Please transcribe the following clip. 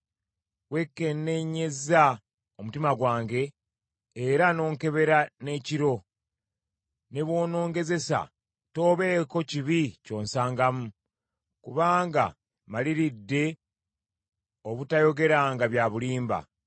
Weekenneenyezza omutima gwange era n’onkebera n’ekiro. Ne bw’onongezesa toobeeko kibi ky’onsangamu; kubanga mmaliridde obutayogeranga bya bulimba.